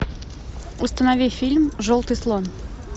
установи фильм желтый слон